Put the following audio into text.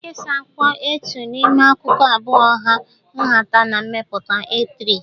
Nkesa akwụkwọ A2 n'ime akụkụ abụọ hà nhata na mmepụta A3